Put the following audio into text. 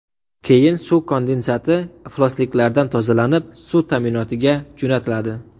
Keyin suv kondensati iflosliklardan tozalanib, suv ta’minotiga jo‘natiladi.